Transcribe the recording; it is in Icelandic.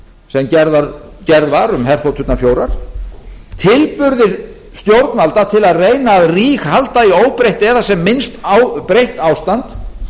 sem gerð var um herþoturnar fjórar tilburðir stjórnvalda til að reyna að ríghalda í óbreytt eða sem minnst breytt ástand